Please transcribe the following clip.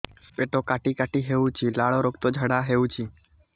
ପେଟ କାଟି କାଟି ହେଉଛି ଲାଳ ରକ୍ତ ଝାଡା ହେଉଛି